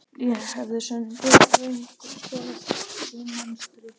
Ég hefði sennilega orðið einhvers konar húmanisti.